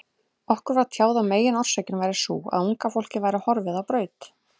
Okkur var tjáð að meginorsökin væri sú, að unga fólkið væri horfið á braut.